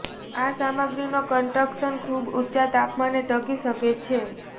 આ સામગ્રીનો કન્સ્ટ્રક્શન્સ ખૂબ ઊંચા તાપમાને ટકી શકે છે